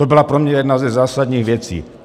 To byla pro mě jedna ze zásadních věcí.